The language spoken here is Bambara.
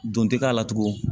Don tɛ k'a la tugun